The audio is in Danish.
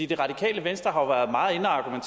de radikale